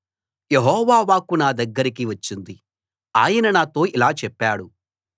యెహోవా వాక్కు నా దగ్గరకి వచ్చింది ఆయన నాతో ఇలా చెప్పాడు